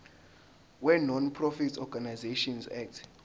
wenonprofit organisations act